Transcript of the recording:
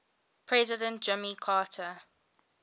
president jimmy carter